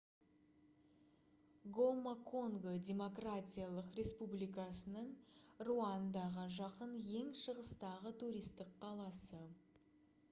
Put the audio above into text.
гома конго демократиялық республикасының руандаға жақын ең шығыстағы туристік қаласы